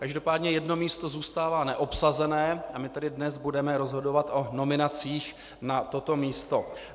Každopádně jedno místo zůstává neobsazené, a my tedy dnes budeme rozhodovat o nominacích na toto místo.